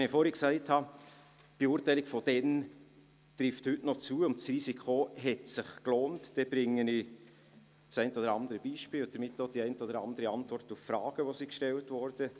Wenn ich vorhin gesagt habe, die Beurteilung von damals treffe auch noch heute zu und das Risiko habe sich gelohnt, dann bringe ich das eine oder andere Beispiel und gebe damit die eine oder andere Antwort auf gestellte Fragen.